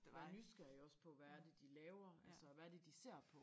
Vær nysgerrig også på hvad er det de laver altså hvad er det de ser på